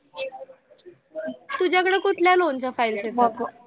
कुठल्या loan च्या files चे